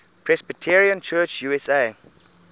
presbyterian church usa